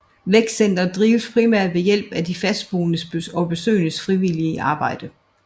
Vækstcenteret drives primært ved hjælp af de fastboendes og besøgendes frivillige arbejde